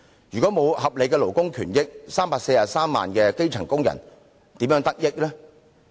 如果沒有合理的勞工權益 ，343 萬名基層工人又如何從中得益呢？